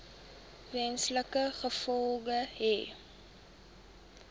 wesenlike gevolge hê